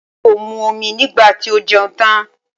Ọmọ yìí kò mu omi nígbà tí ó jẹun tán.